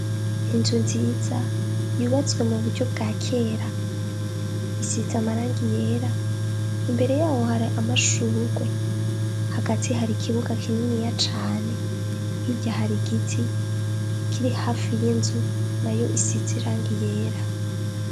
Inzu nziza yubatswe mu buryo bwa kera, isize amarangi yera, imbere yayo hari amashurwe. Hagati hari ikibuga kininiya cane, hirya hari igiti kiri hafi y'inzu nayo isize irangi ryera.